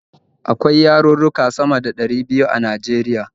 Akwai yarurruka sama da ɗari biyu a Najeriya.